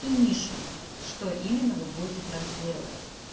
и нишу что именно вы будете транслировать